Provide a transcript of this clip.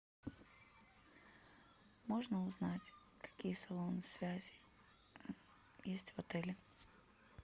можно узнать какие салоны связи есть в отеле